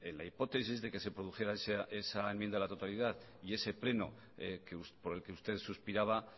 la hipótesis de que se produjera esa enmienda a la totalidad y ese pleno por el que usted suspiraba